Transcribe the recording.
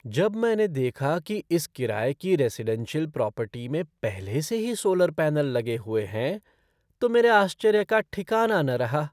जब मैंने देखा कि इस किराये की रेज़िडेंशियल प्रॉपर्टी में पहले से ही सोलर पैनल लगे हुए हैं तो मेरे आश्चर्य का ठिकाना न रहा।